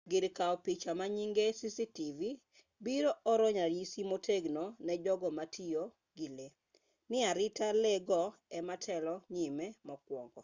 gir kaw picha manyinge cctv biro oro ranyisi motegno ne jogo ma tiyo gi lee ni arita lee go ema telo nyime mokwongo